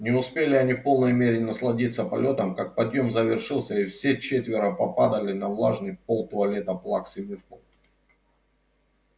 не успели они в полной мере насладиться полётом как подъем завершился и все четверо попадали на влажный пол туалета плаксы миртл